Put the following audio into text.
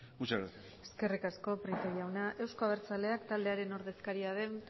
muchas gracias eskerrik asko prieto jauna euzko abertzaleak taldearen ordezkaria den